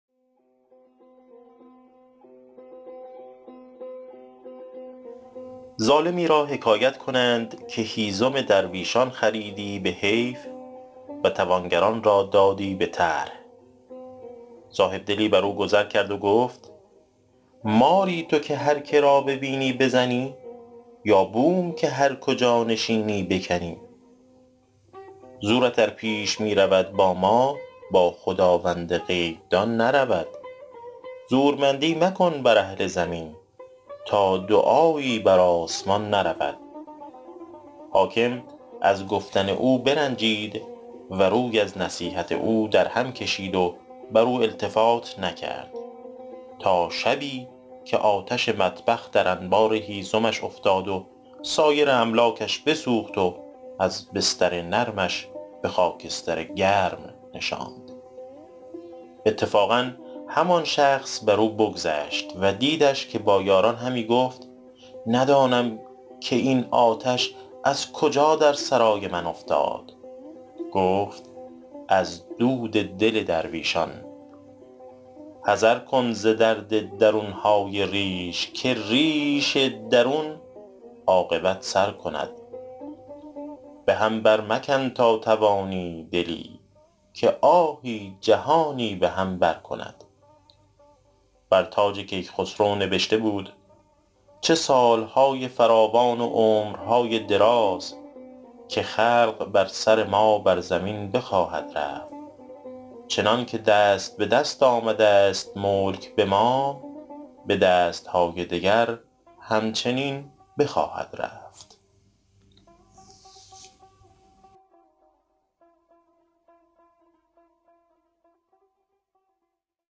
ظالمی را حکایت کنند که هیزم درویشان خریدی به حیف و توانگران را دادی به طرح صاحبدلی بر او گذر کرد و گفت ماری تو که هر که را ببینی بزنی یا بوم که هر کجا نشینی بکنی زورت ار پیش می رود با ما با خداوند غیب دان نرود زورمندی مکن بر اهل زمین تا دعایی بر آسمان نرود حاکم از گفتن او برنجید و روی از نصیحت او در هم کشید و بر او التفات نکرد تا شبی که آتش مطبخ در انبار هیزمش افتاد و سایر املاکش بسوخت وز بستر نرمش به خاکستر گرم نشاند اتفاقا همان شخص بر او بگذشت و دیدش که با یاران همی گفت ندانم این آتش از کجا در سرای من افتاد گفت از دل درویشان حذر کن ز درد درون های ریش که ریش درون عاقبت سر کند به هم بر مکن تا توانی دلی که آهی جهانی به هم بر کند بر تاج کیخسرو نبشته بود چه سال های فراوان و عمر های دراز که خلق بر سر ما بر زمین بخواهد رفت چنان که دست به دست آمده ست ملک به ما به دست های دگر هم چنین بخواهد رفت